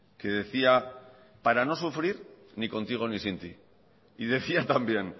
que decía para no sufrir ni contigo ni sin ti y decía también